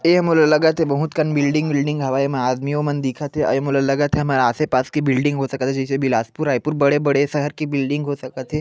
एह मोला लगा थे बहुत कन बिल्डिंग उलदिङ हवय एमा आदमीयो मन दिखा थे अऊ ए मोला लगा थे आसे पास के बिल्डिंग हो सका थे जइसे बिलाशपुर रायपुर बड़े-बड़े शहर के बिल्डिंग हो सका थे।